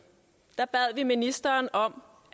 bad vi ministeren om